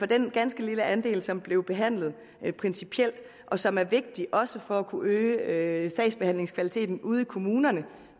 den ganske lille andel som blev behandlet principielt og som er vigtig også for at kunne øge sagsbehandlingskvaliteten ude i kommunerne